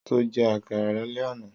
Sọ jẹ́ àkàrà lálẹ́ àná?